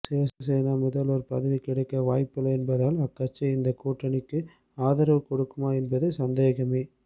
சிவசேனாவுக்கு முதல்வர் பதவி கிடைக்க வாய்ப்பில்லை என்பதால் அக்கட்சி இந்த கூட்டணிக்கு ஆதரவு கொடுக்குமா என்பது சந்தேகமே